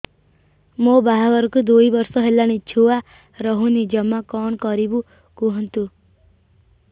ମୋ ବାହାଘରକୁ ଦୁଇ ବର୍ଷ ହେଲାଣି ଛୁଆ ରହୁନି ଜମା କଣ କରିବୁ କୁହନ୍ତୁ